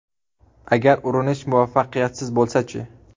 Agar urinish muvaffaqiyatsiz bo‘lsa-chi?